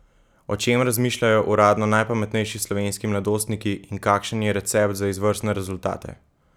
O čem razmišljajo uradno najpametnejši slovenski mladostniki in kakšen je recept za izvrstne rezultate?